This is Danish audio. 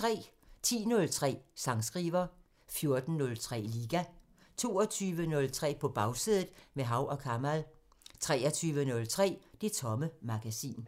10:03: Sangskriver 14:03: Liga 22:03: På Bagsædet – med Hav & Kamal 23:03: Det Tomme Magasin